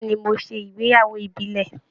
Bẹ̀ẹ́ni, mo ṣe ìgbéyàwó ìbílẹ̀.